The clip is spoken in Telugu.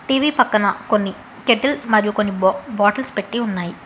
టీవీ పక్కన కొన్ని కెటిల్ మరియు కొన్ని బా బాటిల్స్ పెట్టి ఉన్నాయి.